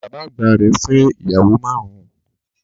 Bàbá àgbà rẹ̀ fẹ́ ìyàwó márùn-ún